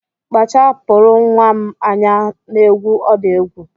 Kpachapụrụ nnwa m anya n'egwu ọ na-egwu